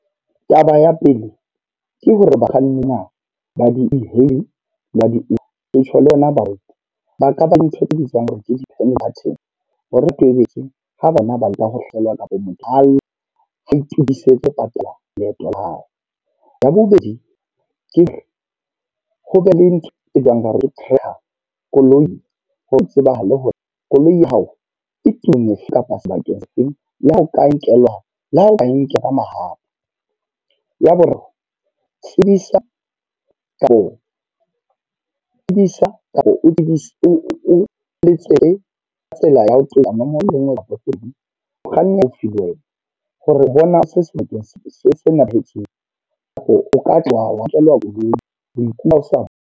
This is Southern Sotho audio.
Taba ya pele, ke hore bakganni ba di e-hailing la di-Uber. Ke tjho le yona banka, ba ka ba le ntho e bitswang card-eng. Hore ha bona ba nka ho hlelwa kapa . Re tsebise ho patala leeto la hao. Ya bobedi, ke re ho be le ntho e bang ho theha koloi. Ho tsebahale hore koloi ya hao e tumme sebakeng seo le ha e nka nkelwa ka mahapa. Ya boraro, tsebisa ka hoo, tsebisa kapa o etse ka tsela ya ho accident. Hore bona kapa o Katla wa nkelwa koloi wa iphumana o sena.